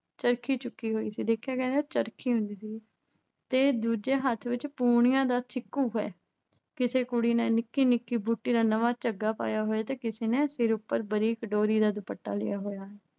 ਚਰਖੀ ਚੁੱਕੀ ਹੋਈ ਸੀ। ਦੇਖਿਆ ਜਾਵੇ ਤਾਂ ਚਰਖੀ ਹੁੰਦੀ ਸੀਗੀ ਤੇ ਦੂਜੇ ਹੱਥ ਵਿੱਚ ਪੂਣੀਆਂ ਦਾ ਛਿੱਕੂ ਹੈ। ਕਿਸੇ ਕੁੜੀ ਨੇ ਨਿੱਕੀ ਨਿੱਕੀ ਬੂਟੀ ਦਾ ਨਵਾਂ ਝੱਗਾ ਪਾਇਆ ਹੋਇਆ ਹੈ ਤੇ ਕਿਸੇ ਨੇ ਸਿਰ ਉੱਪਰ ਬਰੀਕ ਡੋਰੀ ਦਾ ਦੁਪੱਟਾ ਲਿਆ ਹੋਇਆ ਹੈ।